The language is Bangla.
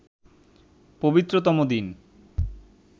পবিত্রতম দিন